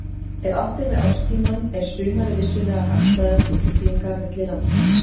Ef átt er við árstímann er sumarið vissulega hagstæðast til siglinga milli landa.